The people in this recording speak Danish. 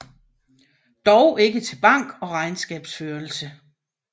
Dog ikke til bank og regnskabsførelse